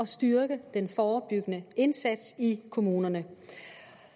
styrke den forebyggende indsats i kommunerne